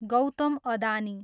Gautam Adani